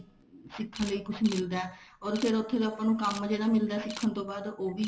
ਸਿੱਖਣ ਲਈ ਕੁੱਝ ਮਿਲਦਾ or ਫ਼ੇਰ ਉੱਥੋਂ ਦਾ ਕੰਮ ਜਿਹੜਾ ਮਿਲਦਾ ਸਿੱਖਣ ਤੋਂ ਬਾਅਦ ਉਹ ਵੀ